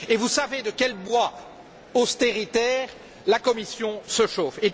Vous savez pourtant de quel bois austéritaire la Commission se chauffe.